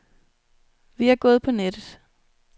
Vi er gået på nettet.